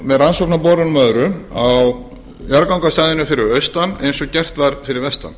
með rannsóknarborunum og öðru á jarðgangastæðinu fyrir austan eins og gert var fyrir vestan